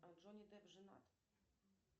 джонни депп женат